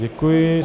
Děkuji.